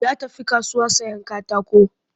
Ya tafi kasuwa sayen katako